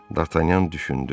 Dartanyan düşündü.